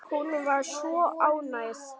Hún var svo ánægð.